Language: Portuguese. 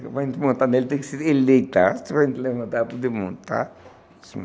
Para gente montar nele, tem que se eleitar, para a gente levantar para desmontar.